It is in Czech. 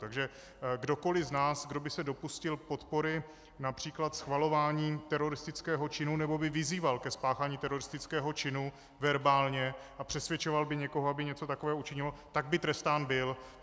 Takže kdokoliv z nás, kdo by se dopustil podpory, například schvalování teroristického činu nebo by vyzýval ke spáchání teroristického činu verbálně a přesvědčoval by někoho, aby něco takového učinil, tak by trestán byl.